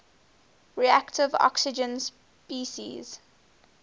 reactive oxygen species